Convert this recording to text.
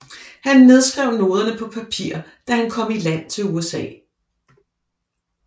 Han nedskrev noderne på papir da han kom i land i USA